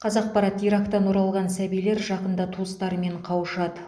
қазақпарат ирактан оралған сәбилер жақында туыстарымен қауышады